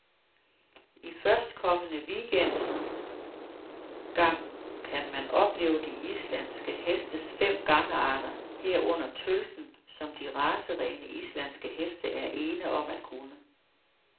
I førstkommende weekend gang kan man opleve de islandske hestes fem gangarter, herunder tølten, som de racerene, islandske heste er ene om at kunne.